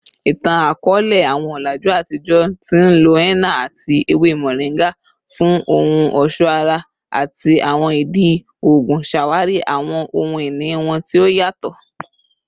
Itan-akọọlẹ, awọn ọlaju atijọ ti nlo henna ati ewe moringa fun ohun ọṣọ ara ati awọn idi oogun, ṣawari awọn ohun-ini wọn ti o yatọ.